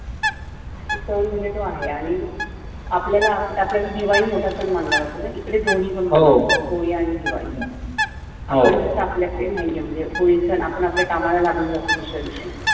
इकडे सण म्हण्जे तो आहे आणी आपल्या कडे दिवाळी मोठा मानल्या जातो इकडे दोन्ही पण मोठे होळी आणी दिवाळी आणी तसं आपल्या कडे नाही आहे म्हणजे होळी सण आपण आपल्या आपल्या कामाला लागुन जातो दुस-या दिवशी.